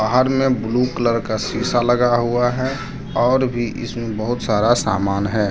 बाहर में blue colour का शीशा लगा हुआ है और भी इसमें बहुत सारा सामान है।